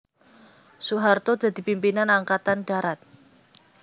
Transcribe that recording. Soeharto dadi pimpinan Angkatan Darat